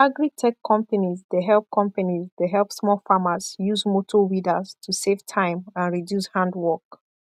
agritech companies dey help companies dey help small farmers use motor weeders to save time and reduce hand work